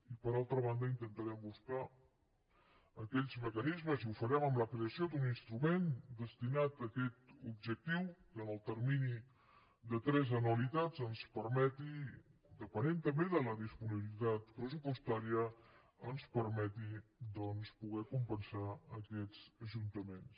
i per altra banda intentarem buscar aquells mecanismes i ho farem amb la creació d’un instrument destinat a aquest objectiu que en el termini de tres anualitats ens permeti depenent també de la disponibilitat pressupostària doncs poder compensar aquests ajuntaments